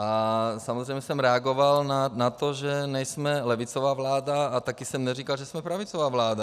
A samozřejmě jsem reagoval na to, že nejsme levicová vláda, a také jsem neříkal, že jsme pravicová vláda.